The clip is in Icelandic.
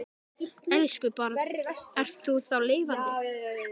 Elsku barn, þú ert þá lifandi.